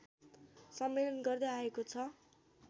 सम्मेलन गर्दै आएको छ